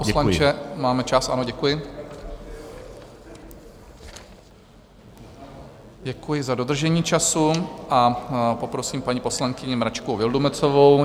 Pane poslanče, máme čas, ano, děkuji, děkuji za dodržení času, a poprosím paní poslankyni Mračkovou Vildumetzovou.